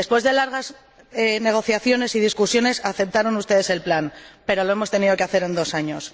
Después de largas negociaciones y discusiones aceptaron ustedes el plan, pero lo hemos tenido que hacer en dos años.